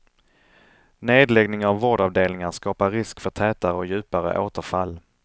Nedläggning av vårdavdelningar skapar risk för tätare och djupare återfall.